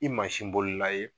I mansin bolila ye